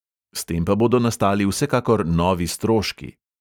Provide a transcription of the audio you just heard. S tem pa bodo nastali vsekakor novi stroški.